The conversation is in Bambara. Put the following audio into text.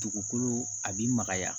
Dugukolo a bi magaya